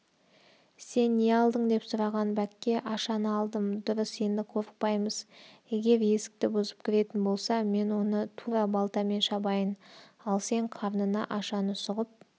сен не алдың деп сұраған бәкке ашаны алдым дұрыс енді қорықпаймыз егер есікті бұзып кіретін болса мен оны тура балтамен шабайын ал сен қарнына ашаны сұғып